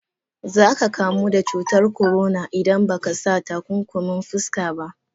Za ka kamu da cutar corona idan ba ka sa takunkumin fuska ba.